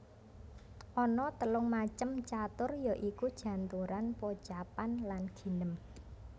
Ana telung macem catur ya iku janturan pocapan lan ginem